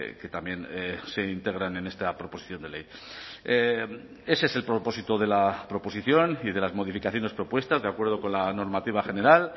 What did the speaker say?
que también se integran en esta proposición de ley ese es el propósito de la proposición y de las modificaciones propuestas de acuerdo con la normativa general